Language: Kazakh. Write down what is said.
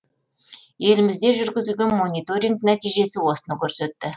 елімізде жүргізілген мониторинг нәтижесі осыны көрсетті